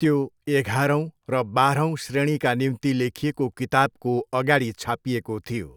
त्यो एघारौँ र बाह्रौँ श्रेणीका निम्ति लेखिएको किताबको अगाडि छापिएको थियो।